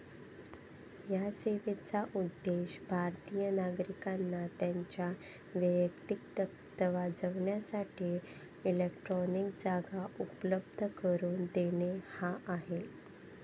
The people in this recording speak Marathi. या सेवेचा उद्देश भारतिय नागरिकांना त्यांच्या वैयक्तिक दस्तावजासाठी इलेक्ट्रॉनिक जागा उपलब्ध करून देणे हा आहे.